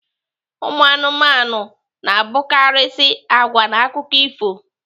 Umụanụmanụ na-abụkarịisi agwa n'akụkọ ifo